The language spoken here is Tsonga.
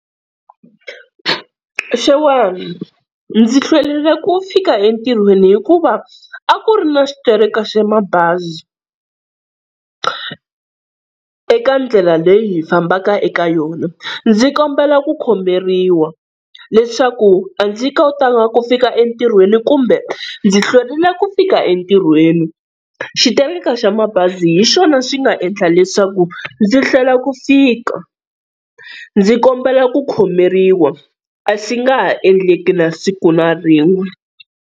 Xewani, ndzi hlwerile ku fika entirhweni hikuva a ku ri na xitereko xa mabazi eka ndlela leyi hi fambaka eka yona. Ndzi kombela ku khomeriwa leswaku a ndzi kotanga ku fika entirhweni kumbe ndzi hlwerile ku fika entirhweni xitereko xa mabazi hi xona xi nga endla leswaku ndzi hlwela ku fika. Ndzi kombela ku khomeriwa a swi nga ha endleki na siku na rin'we.